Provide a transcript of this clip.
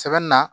Sɛbɛn na